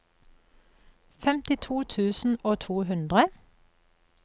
femtito tusen og to hundre